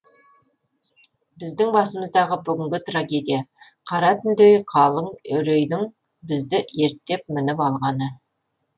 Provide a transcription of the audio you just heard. біздің басымыздағы бүгінгі трагедия қара түндей қалың үрейдің бізді ерттеп мініп алғаны